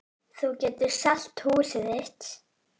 Þú getur selt húsið þitt.